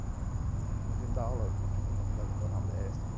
Hoje ele dá aula, acho que na faculdade de Zona Leste ainda.